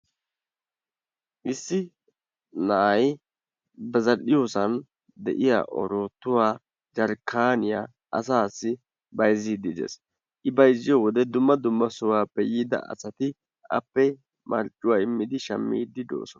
issi na'ay ba zal"iyoosan de'iyaa oroottuwaa jarkaaniyaa asaassi bayzziidi de'ees. I bayzziyoode dumma dumma sohuwaappe yiida asati appe marccuwaa immidi appe shaammidi de'oosona.